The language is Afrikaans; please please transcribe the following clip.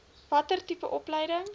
watter tipe opleiding